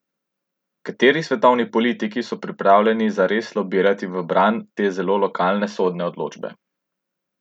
Kateri svetovni politiki so pripravljeni zares lobirati v bran te, zelo lokalne sodne odločbe?